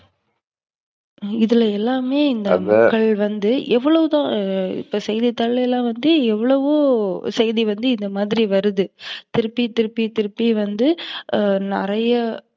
இதுல எல்லாமே இந்த வந்து எவளோ தான் இப்ப செய்தித்தாள்ல வந்து எவ்வளவோ செய்தி வந்து இந்தமாதிரி வருது. திருப்பி, திருப்பி, திருப்பி வந்து நிறைய